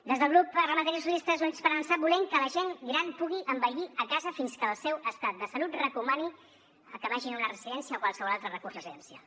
des del grup parlamentari socialistes i units per avançar volem que la gent gran pugui envellir a casa fins que el seu estat de salut recomani que vagin a una residència o qualsevol altre recurs residencial